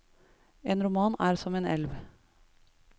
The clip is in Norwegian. En roman er som en elv.